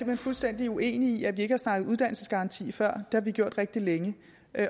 hen fuldstændig uenig i at vi ikke har snakket om uddannelsesgaranti før har vi gjort rigtig længe